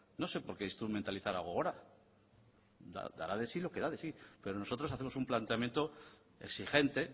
no sé por qué instrumentalizar algo ahora dará de sí lo que da de sí pero nosotros hacemos un planteamiento exigente